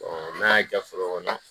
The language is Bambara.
n'a y'a ja fɔlɔ